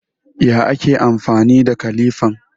Ya ake amfani da kilifan?